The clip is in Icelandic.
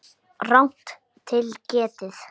Rangt til getið